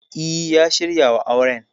E, ya shirya wa auren.